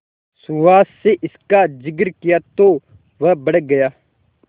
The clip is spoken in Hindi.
सुहास से इसका जिक्र किया तो वह भड़क गया